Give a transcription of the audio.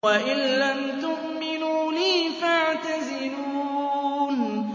وَإِن لَّمْ تُؤْمِنُوا لِي فَاعْتَزِلُونِ